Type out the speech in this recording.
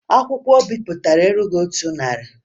Akwụkwọ o bipụtara erughi otu narị